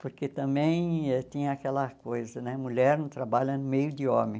Porque também tinha aquela coisa né, mulher não trabalha no meio de homem.